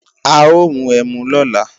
A ó mu ẹmu lọ́la